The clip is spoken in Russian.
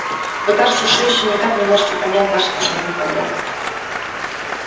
вы кажется все ещё никак не можете понять наших основных проблем